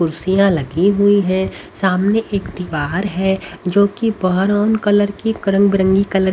कुर्सियां लगी हुई है सामने एक दीवार है जो कि ब्राउन कलर की रंग बरंगी कलर की--